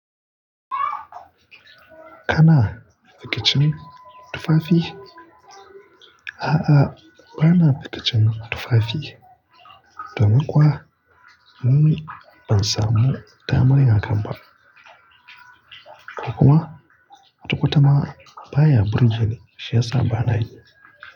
Kana da kicin tufafi? A'a, ba na da kicin tufafi. Domin kuwa mun ban samu damar yin hakan ba. Kuma kwata kwata ma baya burge ni shiyasa ba na yi.